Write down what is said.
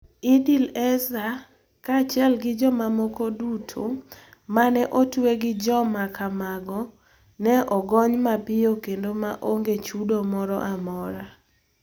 Idil Eser, kaachiel gi jomamoko duto ma ne otwe gi joma kamago, onego ogony mapiyo kendo ma onge chudo moro amora.